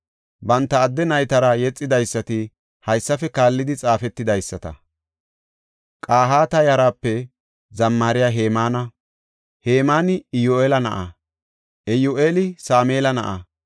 Banta adde naytara yexidaysati haysafe kaallidi xaafetidaysata. Qahaata yaraape zammariya Hemaana; Hemaani Iyyu7eela na7a; Iyyu7eela Sameela na7a;